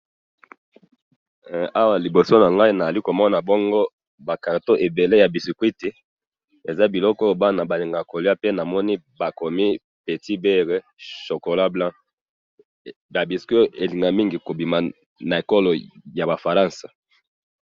Awa na moni ba biscuits oyo bana balingaka kolia, eutaka na France.